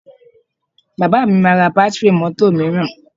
Bàbá mi máa ra bátíìrì mọ́tò mìíràn